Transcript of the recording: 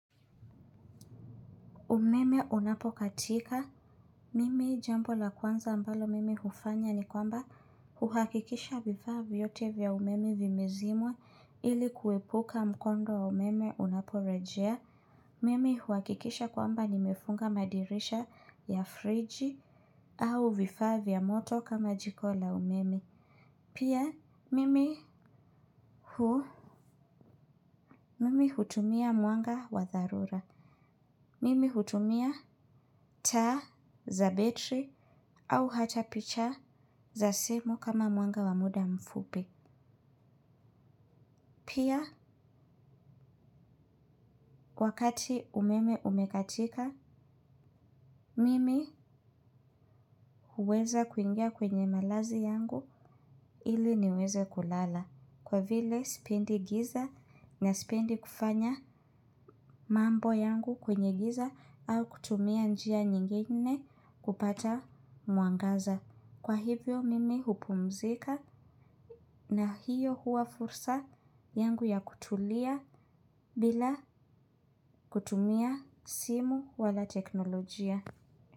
Umeme unapokatika. Mimi jambo la kwanza ambalo mimi hufanya ni kwamba huhakikisha vifaa vyote vya umeme vimezimwa ili kuepuka mkondo wa umeme unaporejea. Mimi huhakikisha kwamba nimefunga madirisha ya friji au vifaa vya moto kama jiko la umeme. Pia mimi huu. Mimi hutumia mwanga wa dharura. Mimi hutumia taa za betri. Au hata picha za simu kama mwanga wa muda mfupi. Pia, wakati umeme umekatika, mimi huweza kuingia kwenye malazi yangu ili niweze kulala. Kwa vile, sipendi giza na sipendi kufanya mambo yangu kwenye giza au kutumia njia nyingine kupata mwangaza. Kwa hivyo, mimi hupumzika na hiyo huwa fursa yangu ya kutulia bila kutumia simu wala teknolojia.